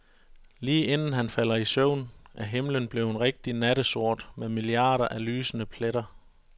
Lige inden han falder i søvn, er himlen blevet rigtig nattesort med milliarder af lysende pletter.